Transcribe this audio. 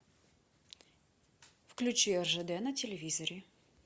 включи ржд на телевизоре